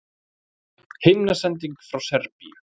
Himnasending frá Serbíu